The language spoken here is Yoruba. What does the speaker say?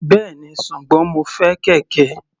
Bẹ́ẹ̀ni, ṣùgbọ́n mo fẹ́ kẹ̀kẹ́.